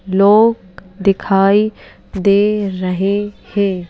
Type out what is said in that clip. लोग दिखाई दे रहे हैं।